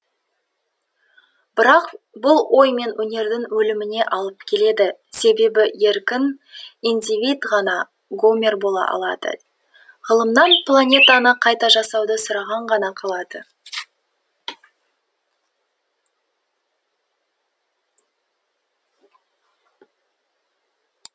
бірақ бұл ой мен өнердің өліміне алып келеді себебі еркін индивид ғана гомер бола алады ғылымнан планетаны қайта жасауды сұрау ғана қалады